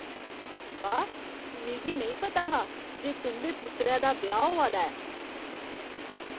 वाह्! मिगी नेईं पता हा जे तुं'दे पुत्तरै दा ब्याह् होआ दा ऐ!